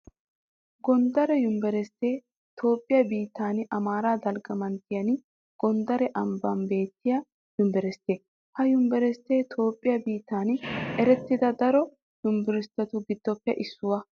Gonddare univeristtee Toophphiyaa biittan Amaaraa dalgga manttiyan gonddare ambban beettiya univeristte. Ha univeristtee Toophphiyaa biittan erettida daro univeristtetu giddoppe issuwaa.